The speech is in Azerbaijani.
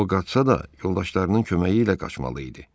O qaçsa da yoldaşlarının köməyi ilə qaçmalı idi.